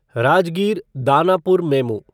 Rajgir Danapur MEMU